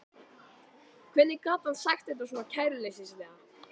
Hvernig gat hann sagt þetta svona kæruleysislega?